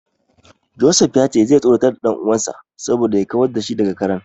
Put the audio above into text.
Joseph ya ce zai tsoratar da dan uwansa saboda ya kawar da shi daga karen.